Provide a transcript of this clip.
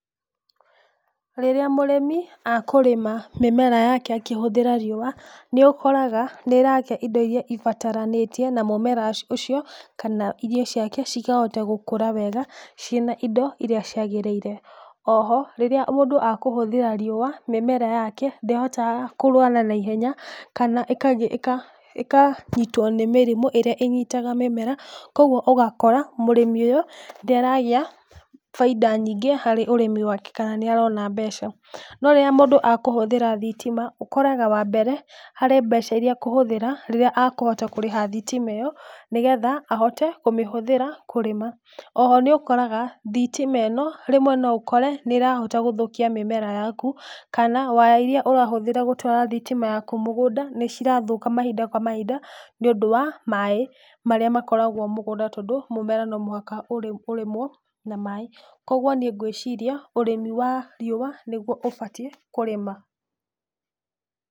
Rĩrĩa mũrĩmi akũrĩma mĩmera yake akĩhũthĩra riũa, nĩũkoraga nĩũragĩa indo iria ibataranĩtie na mũmera aci ũcio, kana irio ciake cikahota gũkũra wega cina indo iria ciagĩrĩire, oho, rĩrĩa mũndũ rĩrĩa mũndũ ahũthĩra riũa, mĩmera yake, ndĩhotaga kũrwara naihenya, kana ĩkag ĩka ĩkanyitwo nĩ mĩrimũ ĩrĩa ĩnyitaga mĩmera, koguo ũgakora, mũrĩmi ũyũ, nĩaragĩa, baida nyingĩ harĩ ũrĩmi wake ka níarona mbeca, rĩrĩa mũndũ akũhũthĩra thitima, ũkoraga wa mbere, kũrĩ mbeca iria akũhũthĩra, rĩrĩa akũhota kũrĩha thitima ĩyo, nĩgetha hote kũmĩhũthĩra kũrĩma, oho nĩũkoraga, thitima ĩno, rĩmwe noũkore nĩrahota gũthũkia mĩmera yaku, kana waya iria ũrahũthĩra gũtwara thitima yaku mũgũnda, nĩcirathũka mahinda kwa mahinda, nĩũndũ wa maĩ marĩa makoragwo mũgũnda tondũ mũgũnda nomũhaka ũ ũrĩmwo, na maĩ, koguo niĩ ngwĩciria, ũrĩmi wa riũa, nĩguo ũbatiĩ kũrĩma.